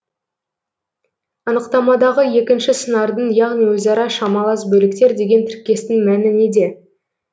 анықтамадағы екінші сыңардың яғни өзара шамалас бөліктер деген тіркестің мәні неде